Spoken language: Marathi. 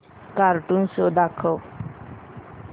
कार्टून शो दाखव